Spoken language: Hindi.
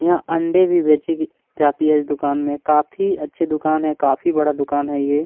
यहाँ अंडे भी बेचीं जाती है इस दुकान में काफी अच्छी दुकान है काफी बड़ा दुकान है ये।